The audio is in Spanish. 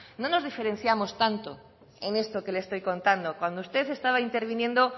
no nos diferenciamos tanto en esto que le estoy contando cuando usted estaba interviniendo